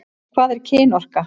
Hvað er kynorka?